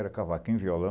Era cavaquinho e violão.